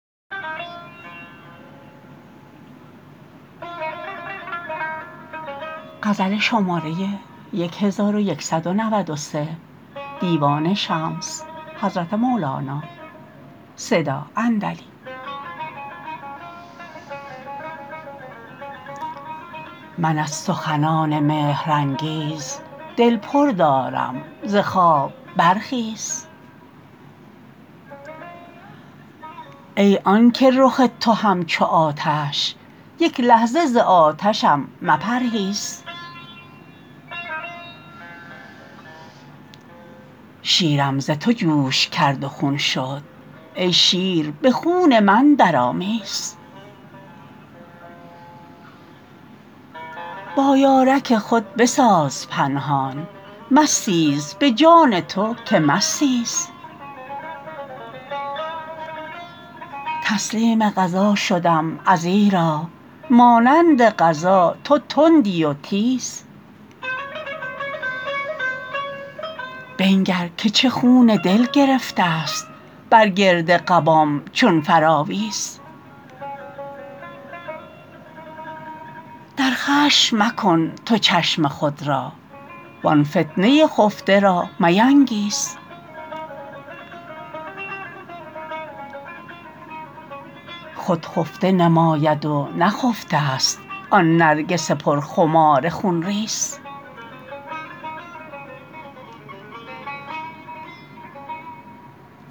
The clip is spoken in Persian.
من از سخنان مهرانگیز دل پر دارم ز خواب برخیز ای آنک رخ تو همچو آتش یک لحظه ز آتشم مپرهیز شیرم ز تو جوش کرد و خون شد ای شیر به خون من درآمیز با یارک خود بساز پنهان مستیز به جان تو که مستیز تسلیم قضا شدم ازیرا مانند قضا تو تندی و تیز بنگر که چه خون دل گرفتست بر گرد قبام چون فراویز در خشم مکن تو چشم خود را وان فتنه خفته را مینگیز خود خفته نماید و نخفتست آن نرگس پرخمار خون ریز